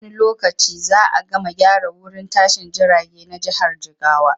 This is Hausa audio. Nan da wani lokaci za a gama gyara wurin tashin jirage na jihar jigawa.